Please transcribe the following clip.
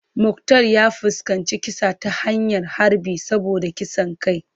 Muktar ya fuskanci kisa ta hanyar harbi saboda kisan kai.